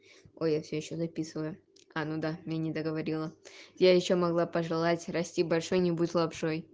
о я всё ещё записываю а ну да я не договорила я ещё могла пожелать расти большой не будь лапшой